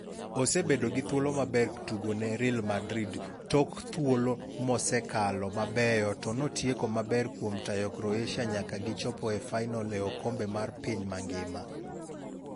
"Osebedo gi thuolo maber ktugo ne Real Madrid tok thuolo mosekalo mabeyo to notieko maber kuom tayo Croatia nyaka gi chopo e fainole okombe mar piny mangima.